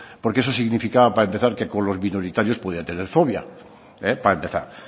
porque eso significaba para empezar que con los minoritarios podía tener fobia para empezar